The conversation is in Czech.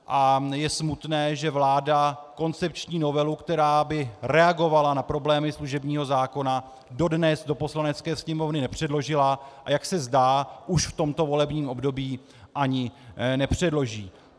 A je smutné, že vláda koncepční novelu, která by reagovala na problémy služebního zákona, dodnes do Poslanecké sněmovny nepředložila, a jak se zdá, už v tomto volebním období ani nepředloží.